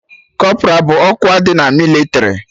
Kọpra bụ ọkwa dị na mịlịtrị